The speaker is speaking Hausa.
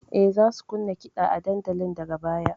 E, za su kunna kiɗa a dandalin daga baya.